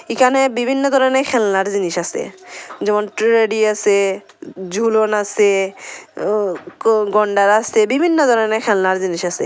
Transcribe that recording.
এখানে বিভিন্ন ধরনের খেলনার জিনিস আসে যেমন ট্রেডি আসে ঝুলন আসে উ গন্ডার আসে বিভিন্ন ধরনের খেলনার জিনিস আসে ।